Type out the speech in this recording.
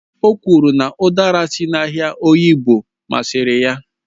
O kwuru na udara si n'ahịa oyingbo masịrị ya